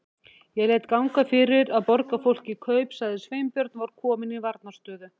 Ég lét ganga fyrir að borga fólki kaup- sagði Sveinbjörn og var kominn í varnarstöðu.